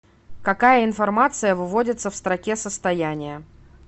какая информация выводится в строке состояния